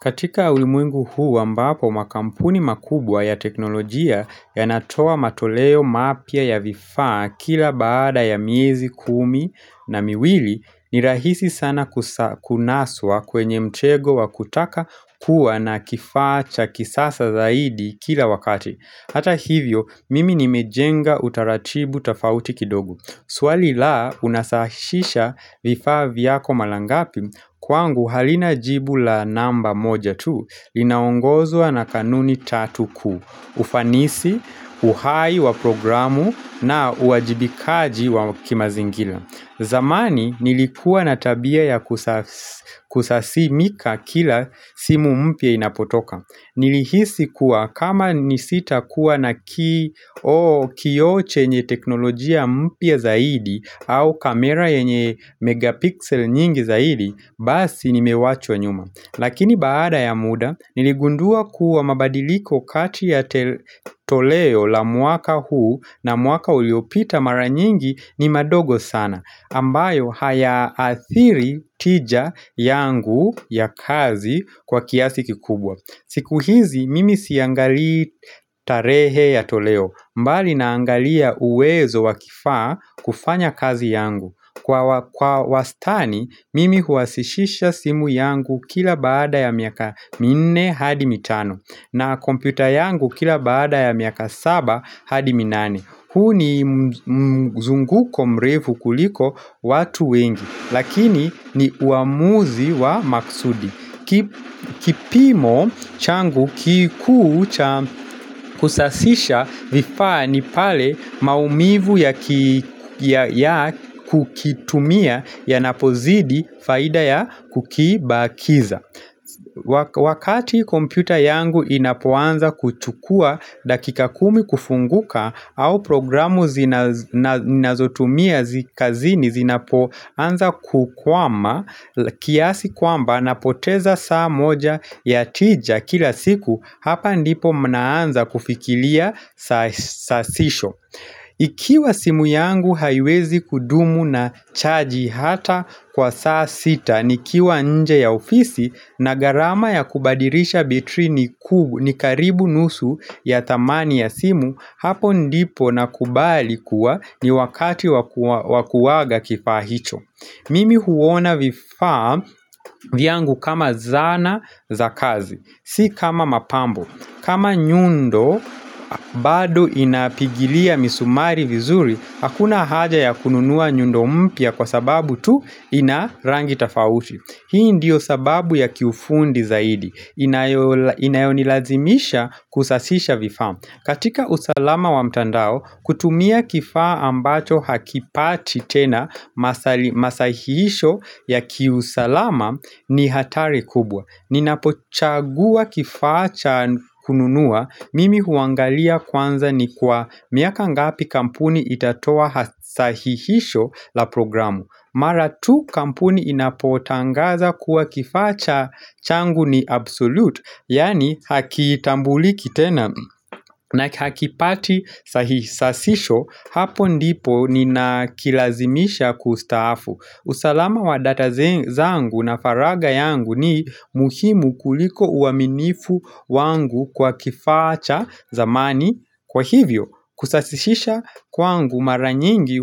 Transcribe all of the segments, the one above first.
Katika ulimwengu huu ambapo makampuni makubwa ya teknolojia yanatoa matoleo mapya ya vifaa kila baada ya miezi kumi na miwili ni rahisi sana kunaswa kwenye mtego wa kutaka kuwa na kifaa cha kisasa zaidi kila wakati. Hata hivyo mimi nimejenga utaratibu tofauti kidogo Swali la unasahishisha vifaa vyako mara ngapi Kwangu halina jibu la namba moja tu Linaongozwa na kanuni tatu kuu ufanisi, uhai wa programu na uwajibikaji wa kimazingira zamani nilikuwa na tabia ya kusasimika kila simu mpya inapotoka Nilihisi kuwa kama nisita kuwa na kioo kioo chenye teknolojia mpya zaidi au kamera yenye megapixel nyingi zaidi Basi nimewachwa nyuma Lakini baada ya muda Niligundua kuwa mabadiliko kati ya toleo la mwaka huu na mwaka uliopita mara nyingi ni madogo sana ambayo haya athiri tija yangu ya kazi kwa kiasi kikubwa siku hizi mimi siangalii tarehe ya toleo mbali naangalia uwezo wa kifaa kufanya kazi yangu Kwa wastani mimi huhasishisha simu yangu kila baada ya miaka minne hadi mitano na kompyuta yangu kila baada ya miaka saba hadi minane huu ni mzunguko mrefu kuliko watu wengi Lakini ni uamuzi wa maksudi kipimo changu kikuu cha kusasisha vifaa ni pale maumivu ya kukitumia yanapozidi faida ya kukibakiza Wakati kompyuta yangu inapoanza kuchukua dakika kumi kufunguka au programu zinazotumia kazini zinapoanza kukwama kiasi kwamba napoteza saa moja ya tija kila siku hapa ndipo mnaanza kufikiria sasisho Ikiwa simu yangu haiwezi kudumu na chaji hata kwa saa sita Nikiwa nje ya ofisi na gharama ya kubadilisha betri ni kubwa ni karibu nusu ya thamani ya simu Hapo ndipo nakubali kuwa ni wakati wa kuaga kifaa hicho Mimi huona vifaa vyangu kama zana za kazi Si kama mapambo kama nyundo bado inapigilia misumari vizuri Hakuna haja ya kununua nyundo mpya kwa sababu tu ina rangi tofauti Hii ndiyo sababu ya kiufundi zaidi Inayonilazimisha kusasisha vifaa katika usalama wa mtandao kutumia kifaa ambacho hakipati tena masahisho ya kiusalama ni hatari kubwa Ninapochagua kifaa cha kununua mimi huangalia kwanza ni kwa miaka ngapi kampuni itatoa sahihisho la programu Mara tu kampuni inapotangaza kuwa kifaa cha changu ni absolute Yaani hakitambuliki tena na hakipati sasisho Hapo ndipo ninakilazimisha kustaafu usalama wa data zangu na faragha yangu ni muhimu kuliko uaminifu wangu kwa kifaa cha zamani Kwa hivyo, kusasisisha kwangu mara nyingi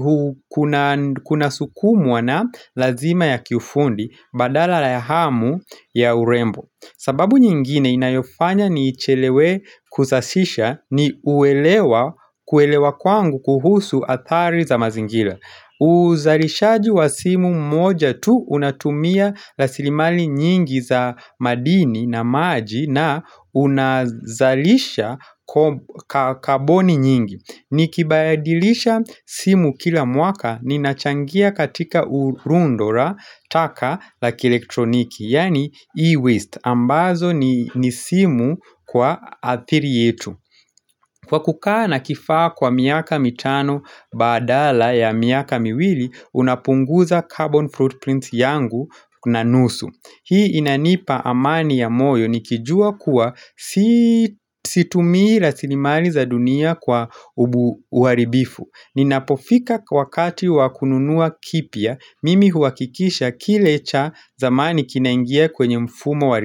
kuna sukumwa na lazima ya kiufundi badala ya hamu ya urembo sababu nyingine inayofanya niichelewe kusasisha ni uelewa uelewa kwangu kuhusu adhari za mazingira uzalishaji wa simu mmoja tu unatumia rasilimali nyingi za madini na maji na unazalisha kaboni nyingi Nikibayadilisha simu kila mwaka ninachangia katika urundo la taka la kielektroniki Yani e-waste ambazo ni simu kwa athiri yetu Kwa kukaa na kifaa kwa miaka mitano badala ya miaka miwili, unapunguza carbon foot print yangu na nusu. Hii inanipa amani ya moyo nikijua kuwa situmii rasilimali za dunia kwa uharibifu. Ninapofika wakati wa kununua kipya, mimi huhakikisha kile cha zamani kinaingia kwenye mfumo wa uharibifu.